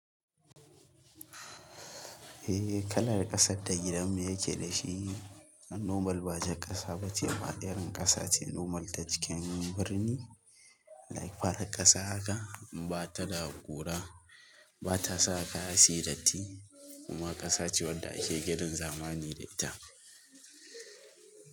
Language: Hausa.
Eh kalar ƙasar da gidanmu yake da shi, normal ba jar ƙasa ba ce ba irin ƙasa ce normal ta cikin birni, like farar ƙasa haka ba ta da kura, ba ta sa kaya suyi datti kuma ƙasa ce wadda ake ginin zamani da ita.